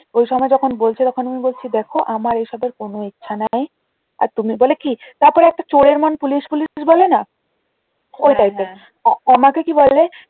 ওই সময় যখন বলছে তখন আমি বলছি দেখো আমার এসবে কোনও ইচ্ছা নাই আর তুমি বলে কি তারপরে একটা চোরের মন পুলিশ পুলিশ বলে না ওই type এর আমাকে কি বলে